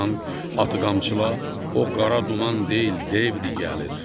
Ay aman, atı qamçıla, o qara duman deyil, devdir gəlir.